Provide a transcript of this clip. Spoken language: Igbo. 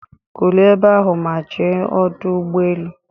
Kulie ebe ahụ ma je n'Ọdụ Ụgbọ elu